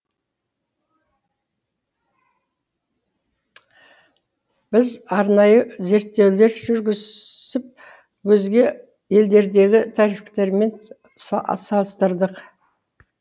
біз арнайы зерттеулер жүргізіп өзге елдердегі тарифтермен салыстырдық